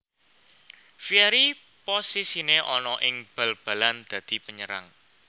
Vieri posisine ana ing bal balan dadi penyerang